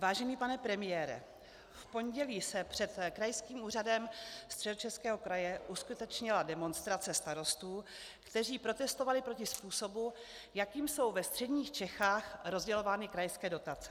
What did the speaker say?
Vážený pane premiére, v pondělí se před Krajským úřadem Středočeského kraje uskutečnila demonstrace starostů, kteří protestovali proti způsobu, jakým jsou ve středních Čechách rozdělovány krajské dotace.